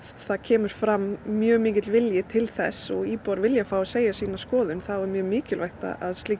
það kemur fram mjög mikill vilji til þess og íbúar vilja fá að segja sína skoðun þá er mjög mikilvægt að slík